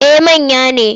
Eh manya ne.